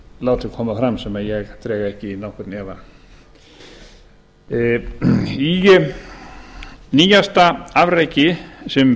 látið koma fram sem ég dreg ekki í nokkurn efa í nýjasta afreki sem